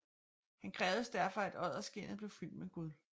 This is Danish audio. Han krævede derfor at odderskindet blev fyldt med guld